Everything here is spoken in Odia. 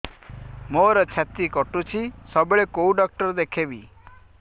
ମୋର ଛାତି କଟୁଛି ସବୁବେଳେ କୋଉ ଡକ୍ଟର ଦେଖେବି